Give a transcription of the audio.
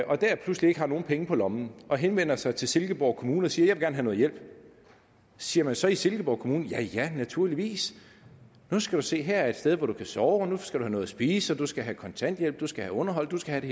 og dér pludselig ikke har nogen penge på lommen og henvender sig til silkeborg kommune og siger gerne have hjælp siger man så i silkeborg kommune ja naturligvis nu skal du se her er et sted hvor du kan sove og nu skal du have noget at spise og du skal have kontanthjælp du skal have underhold du skal have